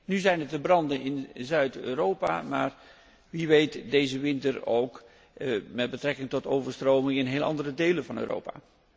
Nu zijn het de branden in Zuid Europa, maar wie weet, deze winter ook met betrekking tot overstromingen in heel andere delen van Europa.